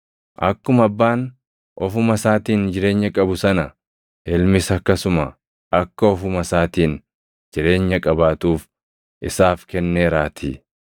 Akkuma Abbaan ofuma isaatiin jireenya qabu sana, Ilmis akkasuma akka ofuma isaatiin jireenya qabaatuuf isaaf kenneeraatii.